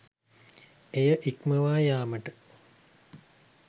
එය ඉක්මවා යාමට